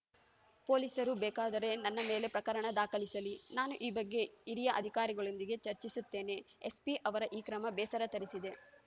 ಪೊಲೀಸರು ಬೇಕಾದರೆ ನನ್ನ ಮೇಲೆ ಪ್ರಕರಣ ದಾಖಲಿಸಲಿ ನಾನು ಈ ಬಗ್ಗೆ ಹಿರಿಯ ಅಧಿಕಾರಿಗಳೊಂದಿಗೆ ಚರ್ಚಿಸುತ್ತೇನೆ ಎಸ್ಪಿ ಅವರ ಈ ಕ್ರಮ ಬೇಸರ ತರಿಸಿದೆ